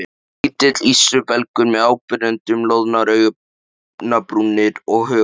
Lítill ístrubelgur með áberandi loðnar augnabrúnir og hökutopp.